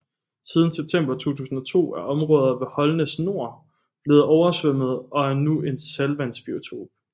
Siden september 2002 er områder ved Holnæs Nor blevet oversvømmet og er nu en saltvandsbiotop